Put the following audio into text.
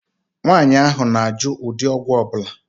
Nwaànyị ahụ na -ajụ ụdị ọgwụ ọbula